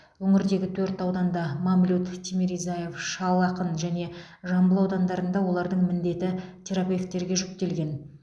өңірдегі төрт ауданда мамлют тимиризяев шал ақын және жамбыл аудандарында олардың міндеті терапевтерге жүктелген